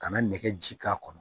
Ka na nɛgɛ ji k'a kɔnɔ